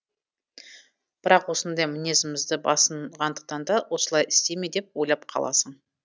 бірақ осындай мінезімізді басынғандықтан да осылай істей ме деп ойлап қаласың